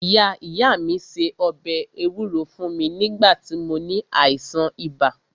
Ìyá ìyá mí se ọbẹ̀ ewúro fún mí nígbà tí mó ní àìsàn ibà.